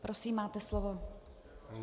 Prosím, máte slovo.